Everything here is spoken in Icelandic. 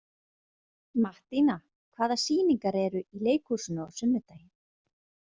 Mattíana, hvaða sýningar eru í leikhúsinu á sunnudaginn?